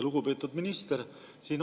Lugupeetud minister!